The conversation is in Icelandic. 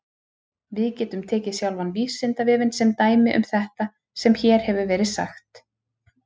Við getum tekið sjálfan Vísindavefinn sem dæmi um þetta sem hér hefur verið sagt.